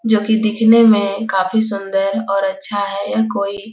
जो की दिखने में काफी सुंदर और अच्छा है यह कोई --